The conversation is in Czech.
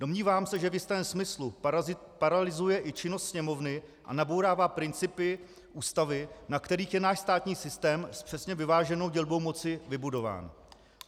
Domnívám se, že v jistém smyslu paralyzuje i činnost Sněmovny a nabourává principy Ústavy, na kterých je náš státní systém s přesně vyváženou dělbou moci vybudován.